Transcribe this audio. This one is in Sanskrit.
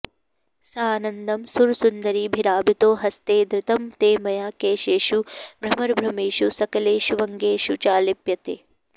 सानन्दं सुरसुन्दरीभिरभितो हस्तैर्धृतं ते मया केशेषु भ्रमरभ्रमेषु सकलेष्वङ्गेषु चालिप्यते